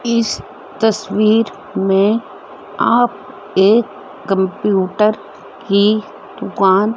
इस तस्वीर में आप एक कंप्यूटर की दुकान--